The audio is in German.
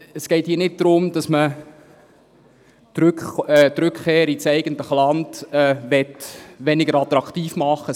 Es geht hier nicht darum, dass man die Rückkehr ins eigene Land weniger attraktiv machen möchte.